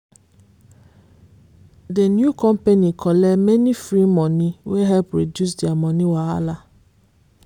the new company collect many free money wey help reduce their money wahala.